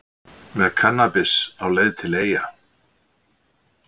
Með kannabis á leið til Eyja